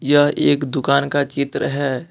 यह एक दुकान का चित्र है।